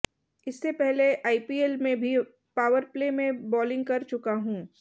इससे पहले आईपीएल में भी पावरप्ले में बालिंग कर चुका हूं